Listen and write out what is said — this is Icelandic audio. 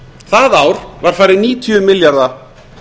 það ár var farið níutíu milljarða